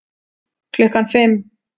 Klukkan fimm